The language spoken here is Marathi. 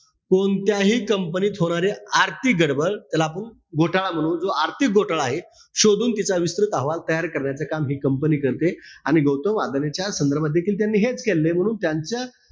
कोणत्याही company त होणारी आर्थिक गडबड, त्याला आपण घोटाळा म्हणू. जो आर्थिक घोटाळा आहे, शोधून तिचा विस्तृत अहवाल तयार करण्याचं काम हि company करते. आणि गौतम अदानीच्या संदर्भात देखील त्यांनी हेच केलेलय. म्हणून त्यांच्या,